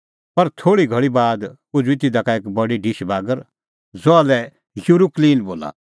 पर थोल़ी घल़ी बाद उझ़ुई तिधा का एक बडी ढिश बागर ज़हा लै युरुकूलीन बोला